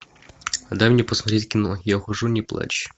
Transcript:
дай мне посмотреть кино я ухожу не плачь